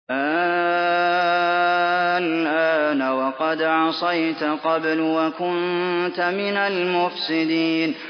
آلْآنَ وَقَدْ عَصَيْتَ قَبْلُ وَكُنتَ مِنَ الْمُفْسِدِينَ